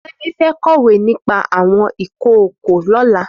Femi fẹ̀ kọwé nipà awọn ikookó lọ̀lá